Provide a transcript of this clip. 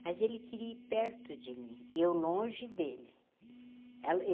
mas ele queria ir perto de mim e eu longe dele.